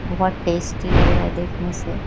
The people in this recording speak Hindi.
बहोत टेस्टी लग रहा है देखने से।